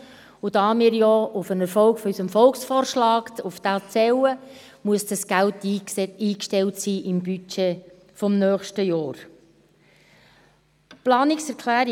Da wir auf den Erfolg unseres Volksvorschlags zählen, muss dieses Geld im Budget des nächsten Jahres eingestellt sein.